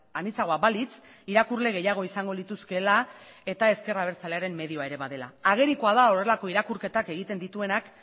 anitzagoa balitz irakurle gehiago izango lituzkeela eta ezker abertzalearen medioa ere badela agerikoa da horrelako irakurketak egiten dituenak